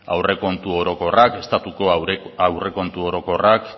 estatuko aurrekontu orokorrak